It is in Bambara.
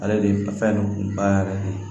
Ale de ye nafa yɛrɛ kun ba yɛrɛ de ye